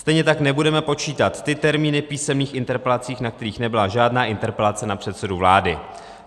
Stejně tak nebudeme počítat ty termíny písemných interpelací, na kterých nebyla žádná interpelace na předsedu vlády.